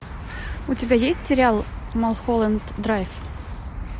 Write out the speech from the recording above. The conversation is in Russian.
у тебя есть сериал малхолланд драйв